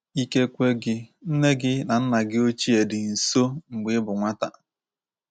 Ikekwe gị, nne gị na nna gị ochie dị nso mgbe ị bụ nwata.